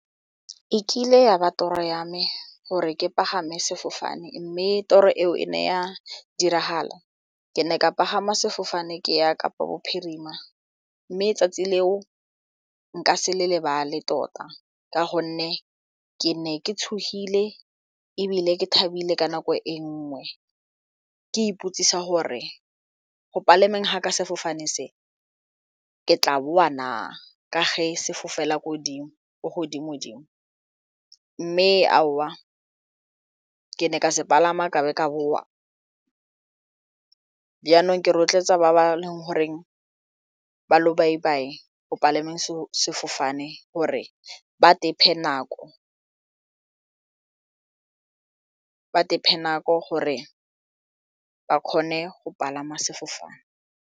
E kile ya ba toro ya me gore ke pagame sefofane mme toro eo e ne ya diragala ke ne ka pagama sefofane ke ya Kapa Bophirima mme tsatsi leo nka se le lebale tota ka gonne ke ne ke tshogile ebile ke thabile ka nako e nngwe ke ipotsisa gore go palameng ga ka sefofane se ke tla boa na ka ge se fofela ko godimo-dimo mme aowa ke ne ka se palama ka be ka boa jaanong ke rotloetsa ba ba leng goreng ba lobaibai go palameng sefofane gore ba nako gore ba kgone go palama sefofane.